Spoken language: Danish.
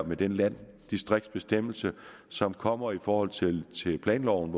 med den landdistriktsbestemmelse som kommer i forhold til planloven